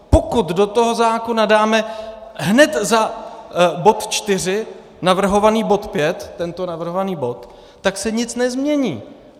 Pokud do toho zákona dáme hned za bod čtyři navrhovaný bod pět, tento navrhovaný bod, tak se nic nezmění.